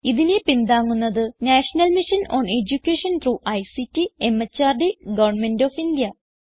ഇതിനെ പിന്താങ്ങുന്നത് national mission on education through ICT MHRD government of India